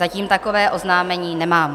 Zatím takové oznámení nemám.